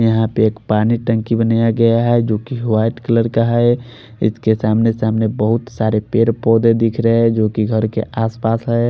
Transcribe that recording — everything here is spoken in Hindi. यहाँ पर एक पानी की टंकी बनाया गया है जो की वाइट कलर का है इसके सामने सामने बोहोत सारे पेड़ पोधे दिख रहे है जो की घर के आस पास है।